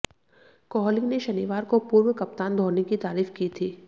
कोहली ने शनिवार को पूर्व कप्तान धोनी की तारीफ की थी